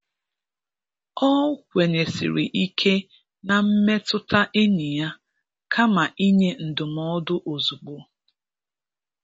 Ọ kwenyesiri ike na mmetụta enyi ya kama inye ndụmọdụ ozugbo.